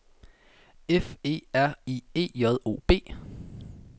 F E R I E J O B